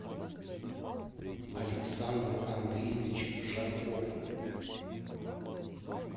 александр андреевич жарков